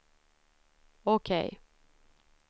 OK